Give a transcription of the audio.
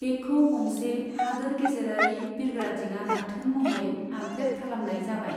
बेखौ गंसे हादोर गेजेरारि बिरग्रा दिङा गाथोन महरै आपग्रेड खालामनाय जाबाय।